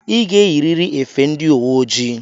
I ga-eyiriri efe ndị uwe ojii!